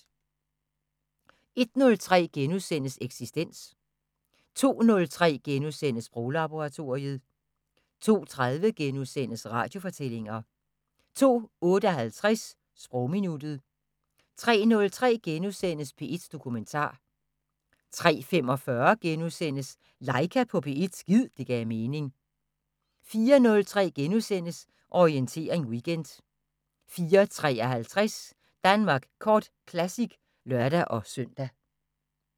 01:03: Eksistens * 02:03: Sproglaboratoriet * 02:30: Radiofortællinger * 02:58: Sprogminuttet 03:03: P1 Dokumentar * 03:45: Laika på P1 – gid det gav mening * 04:03: Orientering Weekend * 04:53: Danmark Kort Classic (lør-søn)